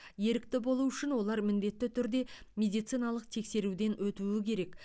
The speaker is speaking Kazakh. ерікті болу үшін олар міндетті түрде медициналық тексеруден өтуі керек